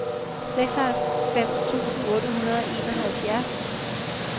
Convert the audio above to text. seksoghalvfems tusind otte hundrede og enoghalvfjerds